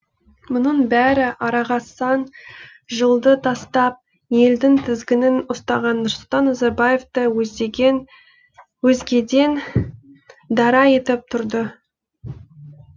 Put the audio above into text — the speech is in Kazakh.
мұның бәрі араға сан жылды тастап елдің тізгінін ұстаған нұрсұлтан назарбаевты өзгеден дара етіп тұрды